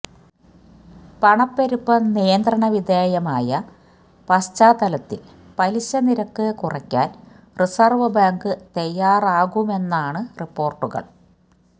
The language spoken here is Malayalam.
പണപ്പെരുപ്പം നിയന്ത്രണവിധേയമായ പശ്ചാത്തലത്തില് പലിശനിരക്ക് കുറയ്ക്കാന് റിസര്വ് ബാങ്ക് തയ്യാറാകുമെന്നാണ് റിപ്പോര്ട്ടുകള്